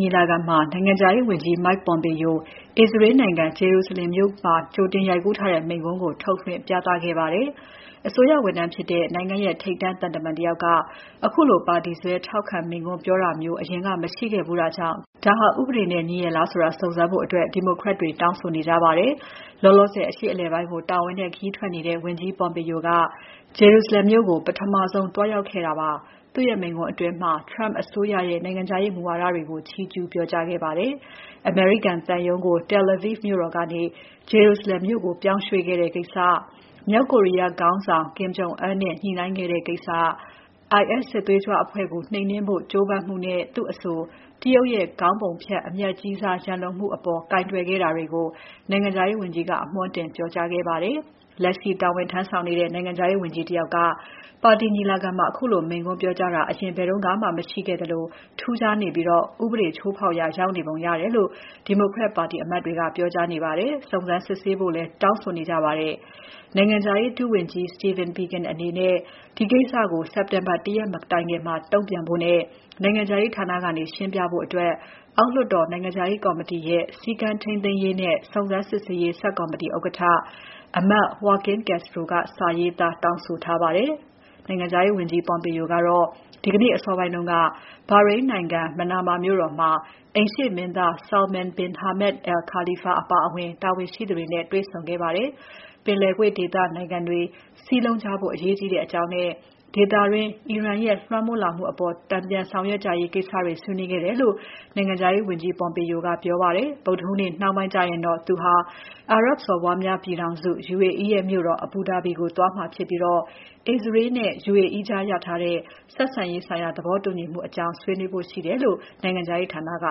ညီလာခံမှာ နိုင်ငံခြားရေးဝန်ကြီး Mike Pompeo အစ္စရေးနိုင်ငံ Jerusalem မြို့မှာ ကြိုတင်ရိုက်ကူးထားတဲ့ မိန့်ခွန်းကို ထုတ်လွှင့်ပြသခဲ့ပါတယ်။ အစိုးရဝန်ထမ်းဖြစ်တဲ့ နိုင်ငံရဲ့ ထိပ်တန်းသံတမန်တယောက်က ခုလိုပါတီစွဲထောက်ခံမိန့်ခွန်းပြောတာမျိုး အရင်က မရှိဘူးတာကြောင့် ဒါဟာ ဥပဒေနဲ့ ညီရဲ့လားဆိုတာ စုံစမ်းဖို့ ဒီမိုကရက် တွေ တောင်းဆိုနေကြပါတယ်။ အခုသီတင်းပါတ်ထဲ့ အရှေ့အလည်ပိုင်းကို တာဝန်နဲ့ခရီးထွက်နေတဲ့ ဝန်ကြီး Pompeo က Jerusalem မြို့ကို ပထမဆုံးသွားရောက်ခဲ့တာပါ။ သူ့ရဲ့မိန့်ခွန်းအတွင်း Trump အစိုးရရဲ့ နိုင်ငံခြားရေးမူဝါဒတွေကို ချီးကျူး ပြောကြားခဲ့ပါတယ်။ အမေရိကန်သံရုံးကို Tel Aviv မြို့တော်ကနေ Jerusalem မြို့ကို ပြောင်းရွှေ့ခဲ့တဲ့ကိစ္စ၊ မြောက်ကိုရီးယားခေါင်းဆောင် Kim Jong Un နဲ့ ညှိုနှိုင်းခဲ့တဲ့ကိစ္စ၊ IS စစ်သွေးကြွအဖွဲ့ကို နှိမ်နှင်းနိုင်ဖို့ ကြိုးပမ်းမှုနဲ့ သူ့အဆို တရုတ်ရဲ့ ခေါင်းပုံဖြတ် အမြတ်ကြီးစား ရန်လိုမှုတွေအပေါ် ကိုင်တွယ်ခဲ့တာတွေကို နိုင်ငံခြားရေးဝန်ကြီးက အမွှမ်းတင်ပြောကြားခဲ့ပါတယ်။ လက်ရှိတာဝန်ထမ်းဆောင်နေတဲ့ နိုင်ငံခြားရေးဝန်ကြီးတယောက်က ပါတီညီလာခံမှာ ခုလို မိန့်ခွန်းပြောကြားတာ အရင်ဘယ်တုန်းမှ မရှိခဲ့သလို ထူးခြားနေပြီး ဥပဒေချိုးဖောက်ရာရောက်နေပုံရတယ်လို့ ဒီမိုကရက်ပါတီအမတ်တွေက ပြောကြားပြီး စုံစမ်းစစ်ဆေးဖို့ တောင်းဆိုခဲ့ကြပါတယ်။ နိုင်ငံခြားရေး ဒုဝန်ကြီး Stephen Biegun အနေနဲ့ ဒီကိစ္စကို စက်တင်ဘာ ၁ ရက်မတိုင်ခင် တုံ့ပြန်ဖို့နဲ့၊ နိုင်ငံခြားရေးဌာနကနေ ရှင်းပြဖို့ အောက်လွှတ်တော် နိုင်ငံခြားရေးကော်မတီရဲ့ စည်းကမ်းထိန်းသိမ်းရေးနဲ့ စုံစမ်း စစ်ဆေးရေး ဆပ်ကော်မတီ ဥက္ကဋ္ဌအမတ် Joaquin Castro က စာရေးသား တောင်းဆိုထားပါတယ်။ ဝန်ကြီး Pompeo ကတော့ ဒီနေ့အစောပိုင်းက ဘာရိန်းနိုင်ငံ Manama မြို့တော်မှာ အိမ်ရှေ့မင်းသား Salman bin Hamad Al Khalifa အပါအဝင် တာဝန်ရှိသူတွေနဲ့ တွေ့ဆုံခဲ့ပါတယ်။ ပင်လယ်ကွေ့ဒေသနိုင်ငံတွေ စည်းလုံးကြဖို့ အရေးကြီးတဲ့အကြောင်း နဲ့ ဒေသတွင်းအီရန်ရဲ့လွှမ်းမိုးလာမှုအပေါ် တန်ပြန်ဆောင်ရွက်ကြရေးကိစ္စတွေ ဆွေးနွေးခဲ့တယ်လို့ နိုင်ငံခြားရေး ဝန်ကြီး Pompeo ကပြောပါတယ်။ ဗုဒ္ဓဟူးနေ့ နှောင်းပိုင်းကျရင်တော့ သူဟာ အာရပ်စော်ဘွားများပြည်ထောင်စု UAE ရဲ့မြို့တော် Abu Dhabi ကိုသွားမှာဖြစ်ပြီး အစ္စရေးလ်နဲ့ UAE ကြား ရထားတဲ့ ဆက်ဆံရေး သဘောတူညီမှုအကြောင်း ဆွေးနွေးဖို့ရှိတယ်လို့ နိုင်ငံခြားရေးဌာနက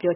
ပြော